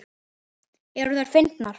Eru þær fyndnar?